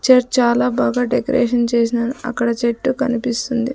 Church చాలా బాగా decoration చేశాను అక్కడ చెట్టు కనిపిస్తుంది.